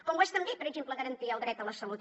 com ho és també per exemple garantir el dret a la salut